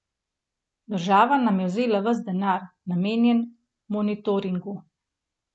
Država nam je vzela ves denar, namenjen monitoringu.